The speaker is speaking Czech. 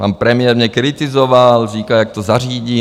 Pan premiér mě kritizoval, říkal, jak to zařídí.